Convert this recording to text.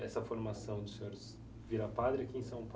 Essa formação do senhor virar padre aqui em São Paulo?